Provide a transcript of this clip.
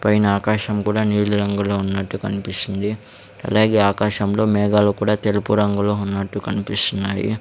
పైన ఆకాశం కూడా నీలి రంగులో ఉన్నట్టు కనిపిస్తుంది అలాగే ఆకాశంలో మేఘాలు కూడా తెలుపు రంగులో ఉన్నట్టు కనిపిస్తున్నాయి.